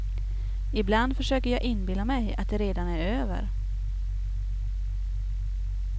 Ibland försöker jag inbilla mig att det redan är över.